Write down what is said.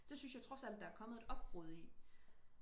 det synes jeg trods alt der er kommet et opbrud i